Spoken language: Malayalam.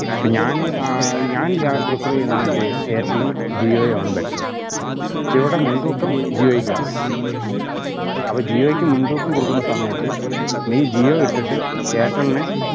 ഇപ്പം ഞാന് ഏർ ഞാൻ രാ prefer ചെയ്യുന്നത് വെച്ചയിഞ്ഞ എയര്ടെലും ജിയോയും ആണ് better ക്ഷെ ഇവിടെ മുൻ‌തൂക്കം ജിഒയ്ക്കാണ് അപ്പോ ജിയോയ്ക്ക് മുൻ‌തൂക്കം കൊടുക്കുന്ന സമയത്ത് നീ ജിയോ വിട്ടിട്ട് എയര്ടെല്നെ